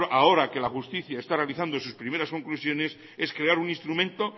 ahora que la justicia está realizando sus primeras conclusiones es crear un instrumento